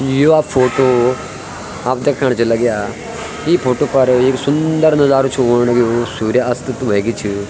या फोटो हम दीखण च लग्यां इ फोटो पर एक सुन्दर नजारू छू ऑण लग्युं सूर्य अस्त त वेगे छ।